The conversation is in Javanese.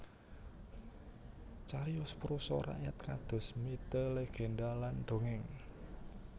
Cariyos prosa rakyat kados mite legendha lan dongeng